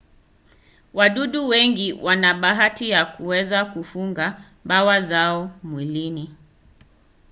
wadudu wengi wana bahati ya kuweza kufunga mbawa zao mwilini